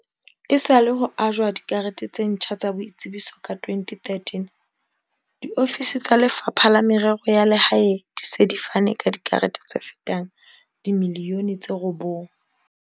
Esale ho ajwa dikarete tse ntjha tsa boitsebiso ka 2013, diofisi tsa Lefapha la Merero ya Lehae di se di fane ka dikarete tse fetang dimiliyone tse robong.